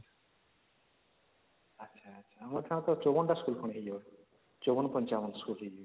ଆଛା ଆଛା ଆମର କଣ ସବୁ ୫୪ ଟା school ୫୪ ୫୫ ଟା school